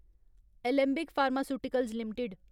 Alembic pharmaceuticals limited